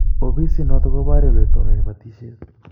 Ofisit notok ko porie ole tononi batishet